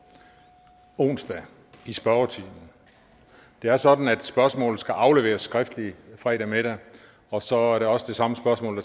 onsdag i spørgetimen det er sådan at spørgsmålet skal afleveres skriftligt fredag middag og så er det også det samme spørgsmål